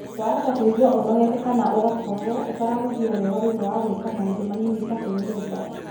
Wahota kũigua ũnogete kana ũgakorũo ũtarahuhia wega thutha wa gwĩka maũndu manini ta kwĩhumba.